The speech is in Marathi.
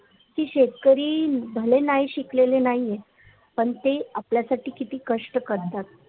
कि शेतकरी भले नाही शिकलेले नाहीये पण ते आपल्यासाठी किती कष्ट करतात